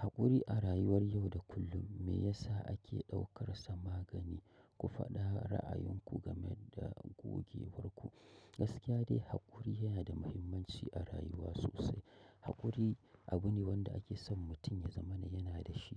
Haƙuri a rayuwar yau da kullum me yasa ake ɗaukar sa magani. Ku faɗa ra'ayinku game da gogewar ku. Gaskiya dai haƙuri yana da mahimmanci a rayuwa sosai. Haƙuri abune wanda ake son mutum ya zamana yana da shi